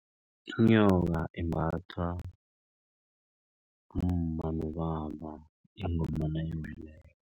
Inyoka imbathwa ngumma nobaba ingoma nayiweleko.